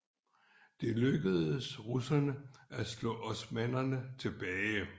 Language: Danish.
Det lykkedes russerne at slå osmannerne tilbage